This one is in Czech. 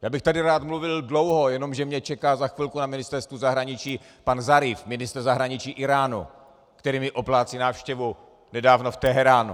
Já bych tady rád mluvil dlouho, jenomže mě čeká za chvilku na Ministerstvu zahraničí pan Zaríf, ministr zahraničí Íránu, který mi oplácí návštěvu nedávno v Teheránu.